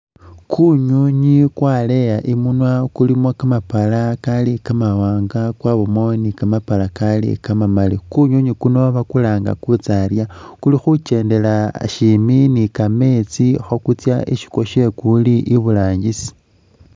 Kunyunyi kwaleyi imunywa kulimo kamapala Kali kamawanga kwabamo ni kamapala Kali kamamaali, kunyunyi kuno bakulangaa kutsaalya kulikhukyendela shimbi ni'kameetsi kuli isi kwashe kuli iburangisi